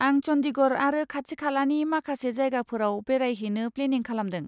आं चन्डीगढ़ आरो खाथि खालानि माखासे जायगाफोराव बेरायहैनो प्लेनिं खालामदों।